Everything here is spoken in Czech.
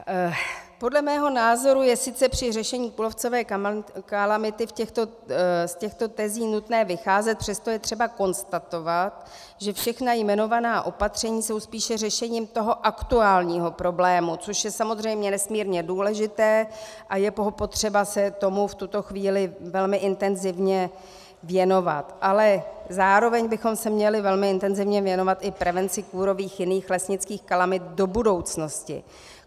Podle mého názoru je sice při řešení kůrovcové kalamity z těchto tezí nutné vycházet, přesto je třeba konstatovat, že všechna jmenovaná opatření jsou spíše řešením toho aktuálního problému, což je samozřejmě nesmírně důležité a je potřeba se tomu v tuto chvíli velmi intenzivně věnovat, ale zároveň bychom se měli velmi intenzivně věnovat i prevenci kůrových jiných lesnických kalamit do budoucnosti.